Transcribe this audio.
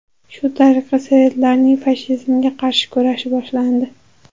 Shu tariqa sovetlarning fashizmga qarshi kurashi boshlandi.